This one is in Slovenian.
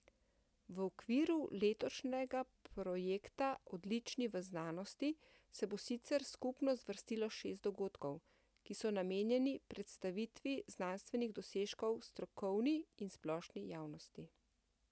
V okviru letošnjega projekta Odlični v znanosti se bo sicer skupno zvrstilo šest dogodkov, ki so namenjeni predstavitvi znanstvenih dosežkov strokovni in splošni javnosti.